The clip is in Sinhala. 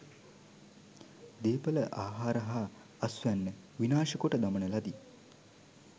දේපළ ආහාර හා අස්වැන්න විනාශ කොට දමන ලදී.